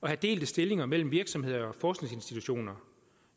have delte stillinger mellem virksomheder og forskningsinstitutioner